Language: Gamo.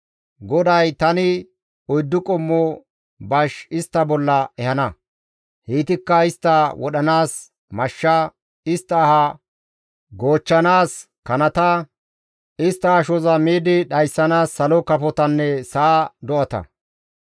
«GODAY, ‹Tani oyddu qommo bash istta bolla ehana; heytikka istta wodhanaas mashsha, istta aha goochchanaas kanata, istta ashoza miidi dhayssanaas salo kafotanne sa7a do7ata.